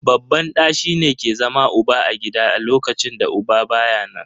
Babban ɗa shi ke zama uba a gida a lokacin da uba baya nan.